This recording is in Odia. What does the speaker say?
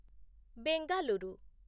ବେଙ୍ଗାଲୁରୁ